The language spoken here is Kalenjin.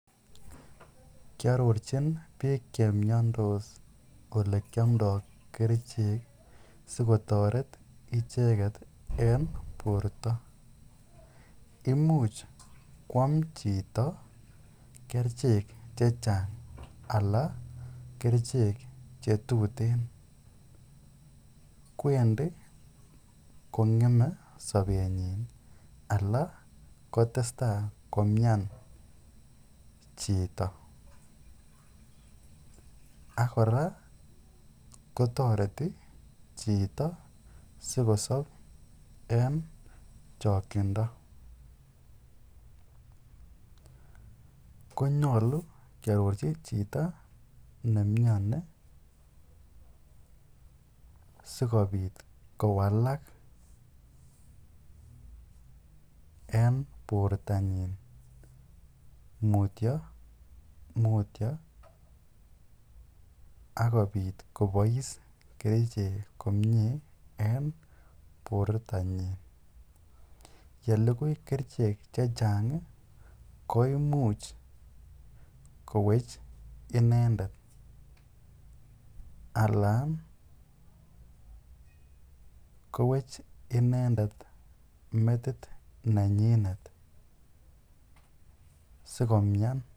Kiarorchin biik chemyondos ole kiomdoi kerichek sikotoret icheget en borto imuch kwam chito kerichek chechang' ala kerichek chetutin kwendi kong'emei sobenyi ala kotestai komyan chito akora kotoreti chito sikosob en chokchindo ko nyolu kearorchi chito neimioni sikobit kowalak en bortonyin mutyomutyo akobit kobois kerichek komyee en bortonyin yelukui kerichek chechang' koimuch kowech inendet ala kowech inendet metit nenyinet sikomyan